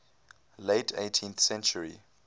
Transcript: late eighteenth century